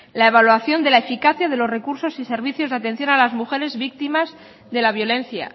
la evaluación de la eficacia de los recursos y servicios de atención a las mujeres víctimas de la violencia